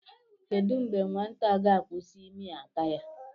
Kedụ mgbe nwata a ga-akwụsị ịmị aka ya